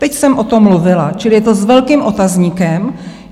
Teď jsem o tom mluvila, čili je to s velkým otazníkem.